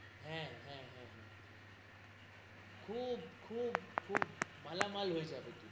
হ্যা, হ্যা, হ্যা, খুব খুব খুব মালামাল হয়ে যাব তুমি,